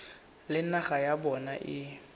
le naga ya bona e